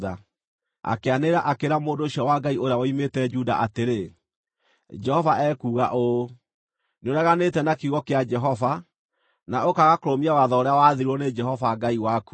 Akĩanĩrĩra, akĩĩra mũndũ ũcio wa Ngai ũrĩa woimĩte Juda atĩrĩ, “Jehova ekuuga ũũ: ‘Nĩũreganĩte na kiugo kĩa Jehova, na ũkaaga kũrũmia watho ũrĩa waathirwo nĩ Jehova Ngai waku.